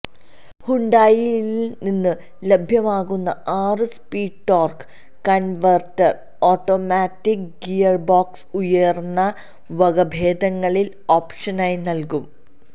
ഹ്യുണ്ടായിയിൽ നിന്ന് ലഭ്യമാക്കുന്ന ആറ് speed torque converter automatic gearbox ഉയർന്ന വകഭേദങ്ങളിൽ ഓപ്ഷനായി നൽകും